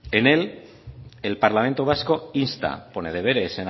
en él el parlamento vasco insta pone deberes